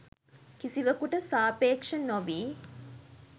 කිසිවකුට සාපේක්‍ෂ නො වී